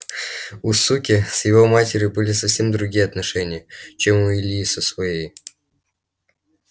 у суки с его матерью были совсем другие отношения чем у ильи со своей